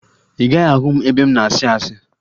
Ị gaghị ahụ m ebe m na-asị asị